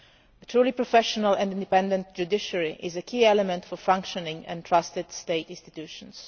A truly professional and independent judiciary is a key element for functioning and trusted state institutions.